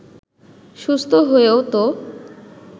সুস্থ হয়েও তো